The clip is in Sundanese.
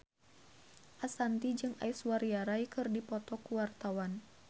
Ashanti jeung Aishwarya Rai keur dipoto ku wartawan